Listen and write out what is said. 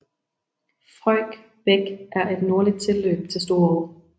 Frøjk Bæk er et nordligt tilløb til Storå